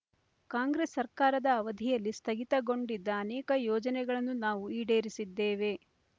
ಕಾಂಗ್ರೆಸ್ ಸರ್ಕಾರದ ಅವಧಿಯಲ್ಲಿ ಸ್ಥಗಿತಗೊಂಡಿದ್ದ ಅನೇಕ ಯೋಜನೆಗಳನ್ನು ನಾವು ಈಡೇರಿಸಿದ್ದೇವೆ